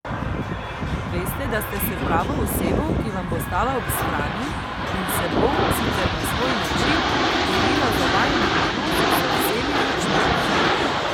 Veste, da ste s pravo osebo, ki vam bo stala ob strani in se bo, sicer na svoj način, borila za vajin odnos z vsemi močmi.